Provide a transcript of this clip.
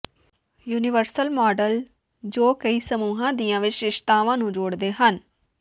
universal model ਜੋ ਕਈ ਸਮੂਹਾਂ ਦੀਆਂ ਵਿਸ਼ੇਸ਼ਤਾਵਾਂ ਨੂੰ ਜੋੜਦੇ ਹਨ